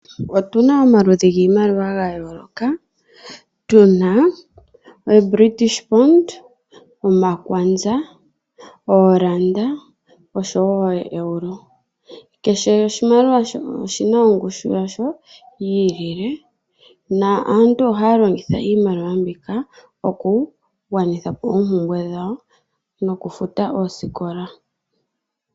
Otu na omaludhi giimaliwa ga yooloka. Otu na ooBritish Pound, omakwanza, ooranda noshowo ooEuro. Kehe oshimaliwa oshi na ongushu yasho yi ilile. Aantu ohaya longitha iimaliwa mbika okugwanitha po oompumbwe dhawo nokufuta oosikola.